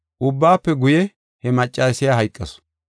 Ubbaafe guye he maccasiya hayqasu.